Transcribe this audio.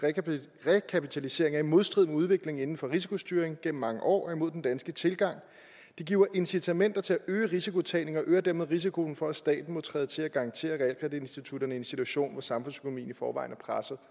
rekapitalisering er i modstrid med udviklingen inden for risikostyring gennem mange år og imod den danske tilgang … det giver incitamenter til at øge rislkotagningen og øger dermed risikoen for at staten må træde til og garantere realkreditinstitutterne i en situation hvor samfundsøkonomien i forvejen er presset